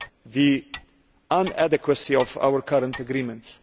the inadequacy of our current agreement.